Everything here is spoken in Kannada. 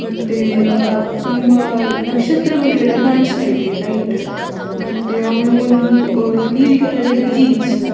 ಮತ್ತೆ ಅಹ್ ತುಂಬ ನಕ್ಷತ್ರಗಳು ಎಲ್ಲ ಕಾಣಿಸ್ತ ಇದೆ ಲೈಟ್‌ ಮತ್ತೆ ಅವಳು ಒಂದು ನೀಲಿ ಕಲರಿನ ಜೀನ್ಸ್‌ .